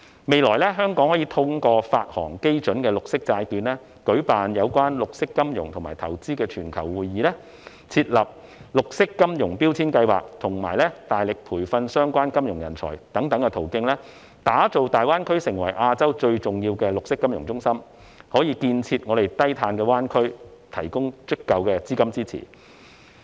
未來，香港可以通過發行基準綠色債券，舉辦有關綠色金融和投資的全球會議，設立"綠色金融標籤計劃"，以及大力培訓相關金融人才等途徑，打造大灣區成為亞洲最重要的綠色金融中心，為建設低碳灣區提供足夠的資金支持。